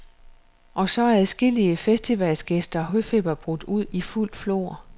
Og så er adskillige festivalgæsters høfeber brudt ud i fuldt flor.